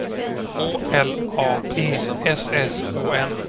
K L A E S S O N